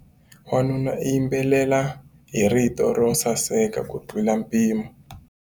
Wanuna u yimbelela hi rito ro saseka kutlula mpimo.